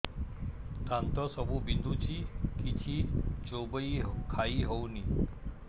ଦାନ୍ତ ସବୁ ବିନ୍ଧୁଛି କିଛି ଚୋବେଇ ଖାଇ ହଉନି